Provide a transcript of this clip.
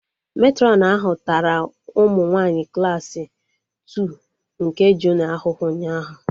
Matrọn ahụ tara ụmụ nwanyị Klassị Two nke junịọ ahụhụ ụnyaahụ